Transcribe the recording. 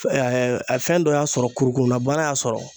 fɛn dɔ y'an sɔrɔ kurukurula bana y'a sɔrɔ